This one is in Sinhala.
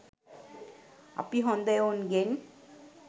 අපි හොද එවුන්ගෙන්